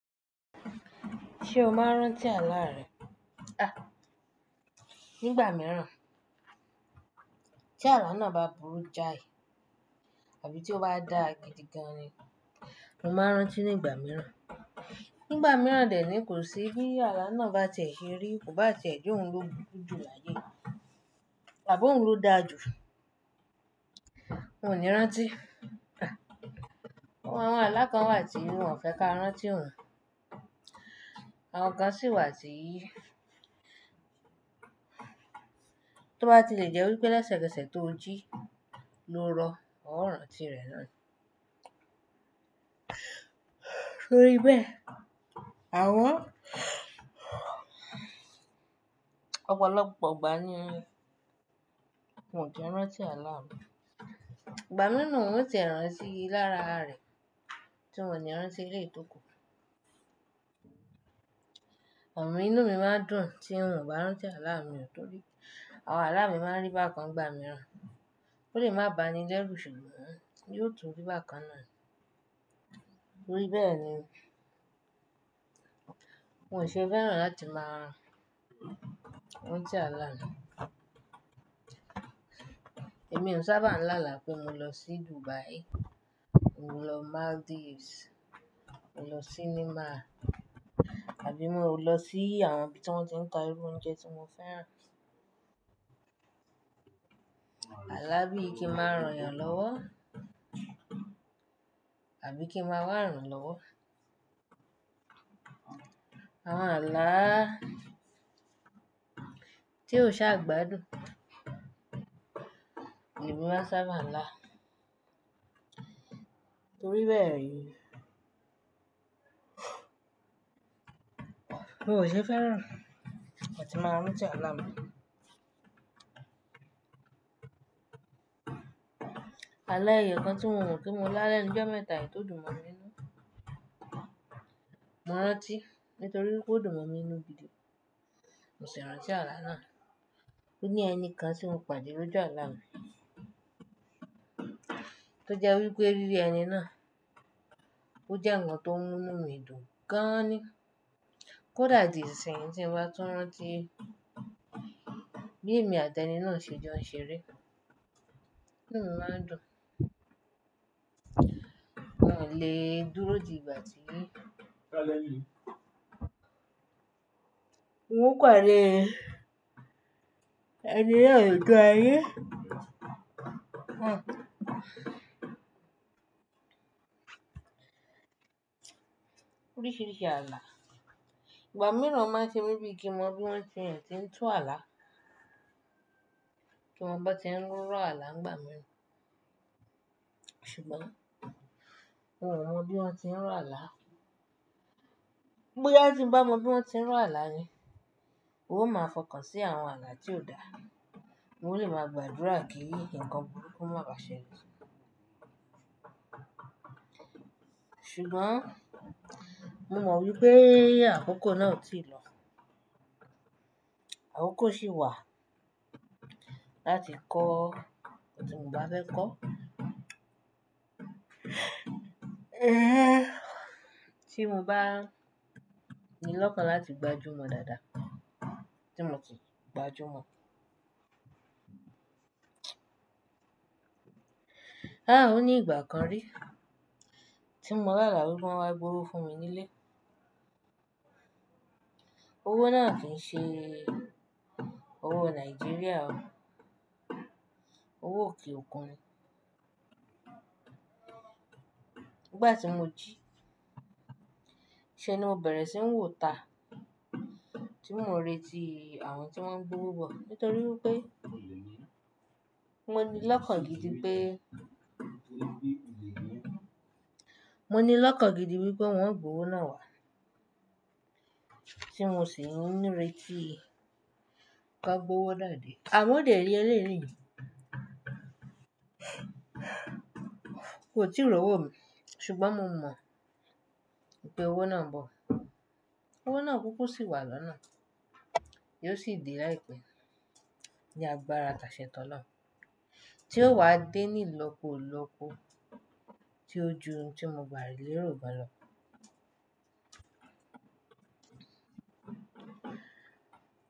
Ṣé o máa rántí àlá rẹ̀? A! Nígbà mìíràn. Tí àlá náà bá burú jáì àbí tí ó bá dà gidigan ni, mo máa rán tí nígbà mìíràn. Nígbà mìíràn dè ẹ́ ni kò sí bí àlá náà bá ti e ṣe rí, ko bá ti e je oùn ló burujú láyé àbí òun lo dàju, m ò ní rántí. Àwọn alá kan wà tí wọ́n ò fẹ́ ká rántí oun. Àwọn kan sì wà tí tó bá ti lè jẹ́ wípé lẹ́sẹ̀kẹsẹ̀ tó jí ló rọ, ó rántí rẹ̀ náà ni torí bẹ́ẹ̀, àmoo ọ̀pọ̀lọpọ̀ ìgbà ní mọ́n ki rántí àlá mi. Ìgbà mìíràn wọ́n ó ti rántí lára rẹ̀ tí wọ́n ò ní rántí eleyi ti okù. Inú mi máa dùn tí mi ò bá rán tí àlá mi ò torí àwọn àlá mi máa ń rí bákan ìgbà mìíràn. Ó lè má bàáni lẹ́rú ṣùgbọ́n ó yóò tóbi bákan náà. Torí bẹ́ẹ̀ ni n ò ṣe fẹ́ràn láti máa rán tí àlá mi. Èmi ò sábà ń lá àlá pé mo lọ sí Dubai, mo lọ Maldives, mo lọ sí nymar àbí mo lọ sí àwọn ibi tí wọ́n ti ń ta irú oúnjẹ tí mo fẹ́ràn. Àlá bí i kí n máa rán eyàn lọ́wọ́ àbí kí n máa wá irán lọ́wọ́. Àwọn àlá tí ó ṣaà gbádùn, ni mọ máa sábà là. Torí bẹ́ẹ̀ ni n ò ṣe fẹ́ràn láti máa rán tí àlá mi. Àlá èèyàn kan tí mo mọ̀ pé mo lá lẹ́nu ojọ mẹ́ta yìí tò dùn mọ̀ mi nínú, mo rántí nítorí pé ó dùn mọ̀mi nínú gidi. Mo sì rántí àlá náà. Ó ní ẹnikan tí mo pàdé lójú àlá mi tó jẹ́ wípé rírí ẹni náà ó jẹ́ ǹkan tó ń mú nu midùn gan-an ni. Kódà di isinsiyin tí n bá tún rántí bí èmi àti ẹni náà ṣe jọ ń ṣeré, inúmi máa ń dùn. Mi ò lè dúró di ìgbà tí mo pàdé ẹni náà nígbà yẹn. Oríṣìíríṣìí àlá. Ìgbà mìíràn máa ṣemi bí kin mo biwon ti e ti tún àlá, kí mọn bó ti ń rọ àlá nígbà mìíràn. Ṣùgbọ́n mi ò mọ bí wọ́n ti ń rọ àlá. Bóyá tí n bá mọ bí wọ́n ti ń rọ àlá ni, ó máa fọkàn sí àwọn àlá tí ò dá. Mo lè máa gbàdúrà kí ǹkan burúkú má bà ṣẹlẹ̀. Ṣùgbọ́n mo mọ wípé àkókò náà ò tíì lọ. Àkókò sì wà láti kọ oun tí mo bá fẹ́ kọ. Ẹ! Tí mo bá ní lọ́kàn láti gbajúmọ̀ dáadáa, tí mo sì gbajúmọ̀. A! Ó ní ìgbà kan rí tí mo lá àlá wípé wọ́n wá gbówó fún mi nílé. Owó náà kí ń ṣe owó Nàìjíríà ó, owó òkè òkun ni. Ìgbà tí mo jí, ṣé ni mo bẹ̀rẹ̀ sí ń wòó ta tí mo ń retí àwọn tí wọ́n ń gbówó bọ̀ nítorí wípé mo ní lọ́kàn gidi pé mo ní lọ́kàn gidi wípé wọ́n ń gbówó náà wá tí mo sì ń retí kí a gbówó dáa dé. À mo dẹ̀ni eleeni mi o ti rọwó mi ṣùgbọ́n mo mọ wípé owó náà ń bọ̀. Owó náà kúkú sì wà lọ́nà, yóò sì dee láìpẹ́ ní agbára tàṣẹ́ tọ́lọ́run tí ó wá dée ní ilọ́pọ̀ilọ́pọ̀ tí ó ju oun tí mo gbà lérò gan lọ.